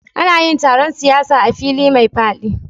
Ana yin taron siyasa a fili mai faɗi